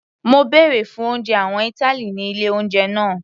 Mo bèrè fún oúnjẹ àwọn ìtàlí ní ilé oúnjẹ náà.